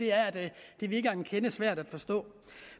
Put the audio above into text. er at det virker en kende svært at forstå